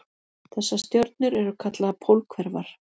Þessar stjörnur eru kallaðar pólhverfar.